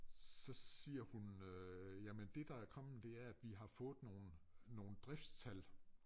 Så siger hun øh jamen det der er kommet det er at vi har fået nogen nogen driftstal